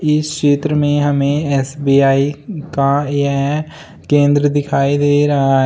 इस चित्र में हमें एस_बी_आई का यह केंद्र दिखाई दे रहा--